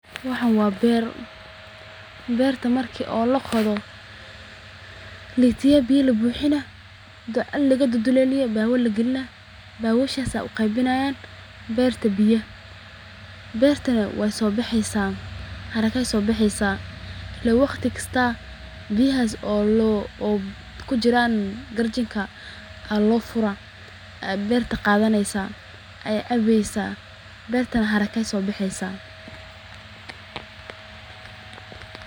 Waxaan waa beer, beerta marki laqodo jarkima ayaa la dololina beeba ayaa lagalinaa, haraka ayeey soo baxeysa, waqti walbo biyahaas ayeey cabeysa, daqsi ayeey soo baxeysa.